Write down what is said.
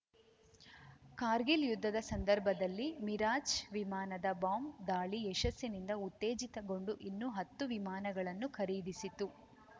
ಕಾರ್ಗಿಲ್‌ ಯುದ್ಧದ ಸಂದರ್ಭದಲ್ಲಿ ಮಿರಾಜ್‌ ವಿಮಾನದ ಬಾಂಬ್‌ ದಾಳಿ ಯಶಸ್ಸಿನಿಂದ ಉತ್ತೇಜಿತಗೊಂಡು ಇನ್ನೂ ಹತ್ತು ವಿಮಾನಗಳನ್ನು ಖರೀದಿಸಿತ್ತು